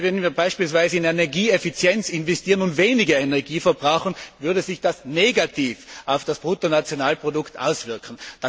Denn wenn wir beispielsweise in Energieeffizienz investieren und weniger Energie verbrauchen, so würde sich das negativ auf das Bruttonationalprodukt auswirken.